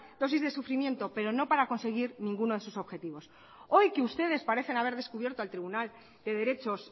dosis de sufrimiento pero no para conseguir ninguno de sus objetivos hoy que ustedes parecen haber descubierto al tribunal de derechos